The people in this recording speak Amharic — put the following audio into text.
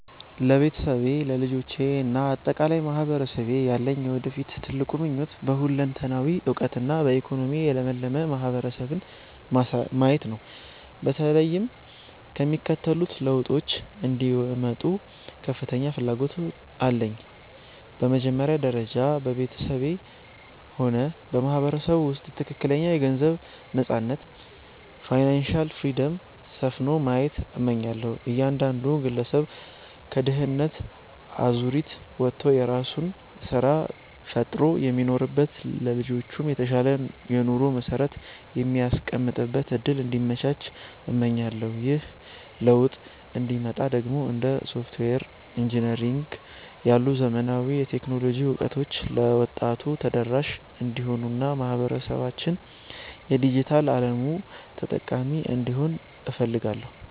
ለቤተሰቤ፣ ለልጆቼ እና ለአጠቃላይ ማህበረሰቤ ያለኝ የወደፊት ትልቁ ምኞት በሁለንተናዊ እውቀትና በኢኮኖሚ የለመለመ ማህበረሰብን ማየት ነው። በተለይም የሚከተሉት ለውጦች እንዲመጡ ከፍተኛ ፍላጎት አለኝ፦ በመጀመሪያ ደረጃ፣ በቤተሰቤም ሆነ በማህበረሰቡ ውስጥ ትክክለኛ የገንዘብ ነፃነት (Financial Freedom) ሰፍኖ ማየት እመኛለሁ። እያንዳንዱ ግለሰብ ከድህነት አዙሪት ወጥቶ የራሱን ስራ ፈጥሮ የሚኖርበት፣ ለልጆቹም የተሻለ የኑሮ መሰረት የሚያስቀምጥበት እድል እንዲመቻች እመኛለሁ። ይህ ለውጥ እንዲመጣ ደግሞ እንደ ሶፍትዌር ኢንጂነሪንግ ያሉ ዘመናዊ የቴክኖሎጂ እውቀቶች ለወጣቱ ተደራሽ እንዲሆኑና ማህበረሰባችን የዲጂታል አለሙ ተጠቃሚ እንዲሆን እፈልጋለሁ።